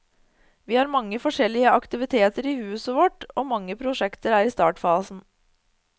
Vi har mange forskjellige aktiviteter i huset vårt, og mange prosjekter er i startfasen.